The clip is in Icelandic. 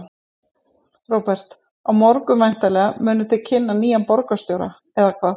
Róbert: Á morgun væntanlega munið þið kynna nýjan borgarstjóra, eða hvað?